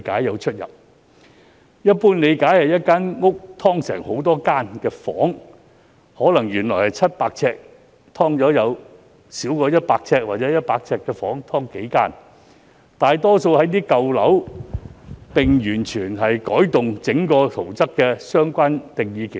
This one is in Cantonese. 根據一般理解，"劏房"是指一間屋"劏"成很多房間，可能原本700呎的單位"劏"成數個少於或等於100呎的房間，"劏房"大多位於舊樓，整個圖則會完全改動。